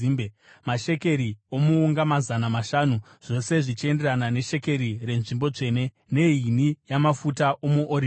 mashekeri omuunga mazana mashanu, zvose zvichienderana neshekeri renzvimbo tsvene, nehini yamafuta omuorivhi.